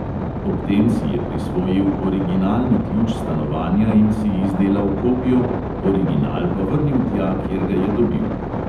Ob tem si je prisvojil originalni ključ stanovanja in si izdelal kopijo, original pa vrnil tja, kjer ga je dobil.